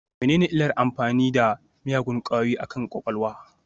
Menene illar amfani da miyagun ƙwayoyi akan kwakwalwa?